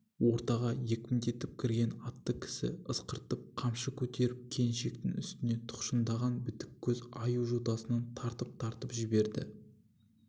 ортаға екпіндетіп кірген атты кісі ысқыртып қамшы көтеріп келіншектің үстінде тұқшындаған бітіккөз аю жотасынан тартып-тартып жіберді